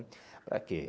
Para quê?